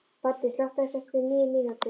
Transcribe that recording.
Baddi, slökktu á þessu eftir tíu mínútur.